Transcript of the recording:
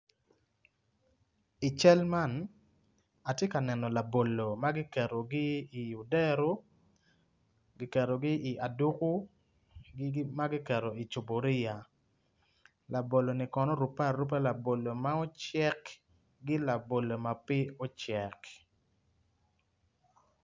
I cal man atye ka neno labolo ma kiketogi i odero kiketogi i aduko ma kiketo i cuburia laboloni kono orubebe aruba labolo mucek ki labolo ma pe ocek.